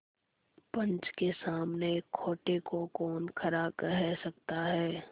पंच के सामने खोटे को कौन खरा कह सकता है